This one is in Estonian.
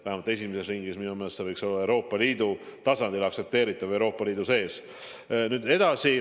Vähemalt esimeses ringis võiks see minu meelest olla Euroopa Liidu tasandil, liidu sees aktsepteeritav.